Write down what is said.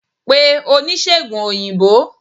pè onisegùn oyinbo!